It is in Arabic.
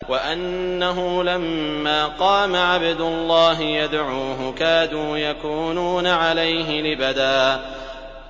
وَأَنَّهُ لَمَّا قَامَ عَبْدُ اللَّهِ يَدْعُوهُ كَادُوا يَكُونُونَ عَلَيْهِ لِبَدًا